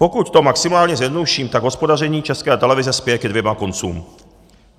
Pokud to maximálně zjednoduším, tak hospodaření České televize spěje ke dvěma koncům.